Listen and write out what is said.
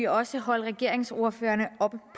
også holde regeringsordførerne op